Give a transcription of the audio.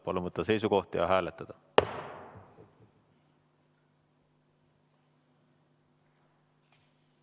Palun võtta seisukoht ja hääletada!